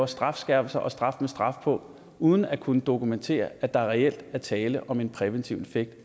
strafskærpelser og straf med straf på uden at kunne dokumentere at der reelt er tale om en præventiv effekt